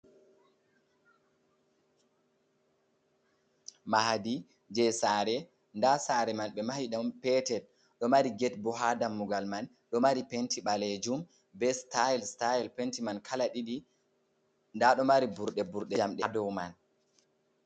Mahadi je saare, nda saare man be mahi ɗon petel ɗo mari get bo ha dammugal man, ɗo mari penti balejum be stile style, penti man kala ɗiɗi nda do mari burɗe burɗe njamde dow man.